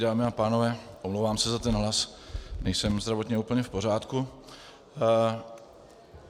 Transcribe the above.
Dámy a pánové, omlouvám se za ten hlas, nejsem zdravotně úplně v pořádku.